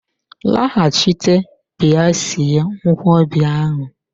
Laghachite bịa sie nkwobi ahu!